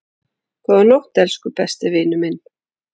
Góða nótt, elsku besti vinur.